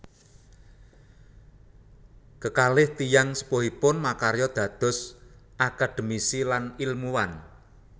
Kekalih tiyang sepuhipun makarya dados akademisi lan ilmuwan